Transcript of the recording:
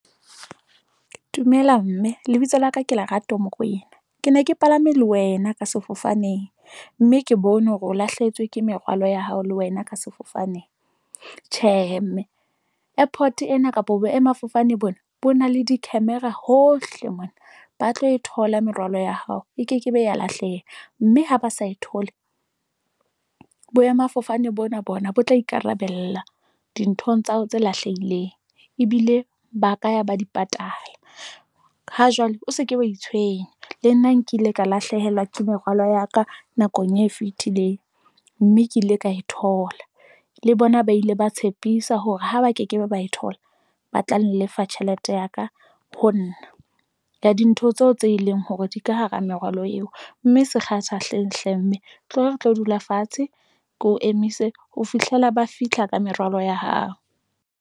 Dumela mme lebitso la ka ke Lerato Mokoena. Ke ne ke palame le wena ka sefofaneng mme ke bone hore o lahlehetswe ke merwalo ya hao le wena ka sefofaneng. Tjhehe, mme airport-e ena kapa boemafofane bona bo na le di-camera hohle mona. Ba tlo e thola merwalo ya hao e ke ke be ya lahleha. Mme ha ba sa e thole boemafofane bona bona bo tla ikarabella dinthong tsa hao tse lahlehileng, ebile ba ka ya ba di patala. Ha jwale o se ke wa itshwenya le nna nkile ka lahlehelwa ke merwalo ya ka nakong e fetileng. Mme ke ile ka e thola le bona ba ile ba tshepisa hore ha ba ke ke be ba e thola, ba tla nlefa jhelete ya ka, ho nna ya dintho tseo tse leng hore di ka hara merwalo eo. Mme se kgathahleng hle mme, tloho re tlo dula fatshe ko emise ho fihlela ba fihla ka merwalo ya hao.